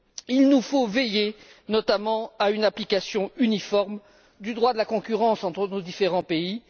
Il nous faut veiller, notamment, à une application uniforme du droit de la concurrence entre nos différents pays.